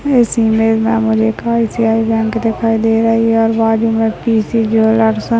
इस इमेज मे मुझे एक आय.सी.आय. बँक दिखाई दे रही और बाजुमे पी.सी. ज्वेलर्स है।